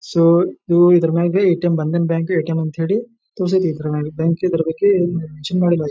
so ನೀವ್ ಇದ್ರ ಮ್ಯಾಗ್ ಎ_ಟಿ_ಎಂ ಬಂದನ್ ಬ್ಯಾಂಕ್ ಎ_ಟಿ_ಎಂ ಅಂತ ಹೇಳಿ ಬ್ಯಾಂಕಿಗೆ ಬರ್ ಬೇಕ್ ಹೇಳಿ